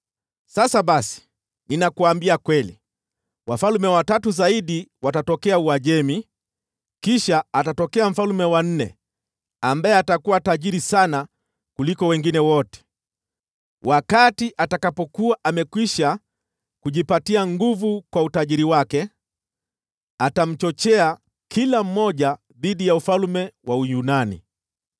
“Sasa basi, ninakuambia kweli: Wafalme watatu zaidi watatokea Uajemi, kisha atatokea mfalme wa nne, ambaye atakuwa tajiri sana kuliko wengine wote. Wakati atakapokuwa amekwisha kujipatia nguvu kwa utajiri wake, atamchochea kila mmoja dhidi ya ufalme wa Uyunani.